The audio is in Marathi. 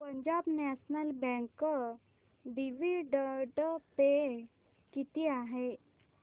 Punjab national bank dividend pay किती आहे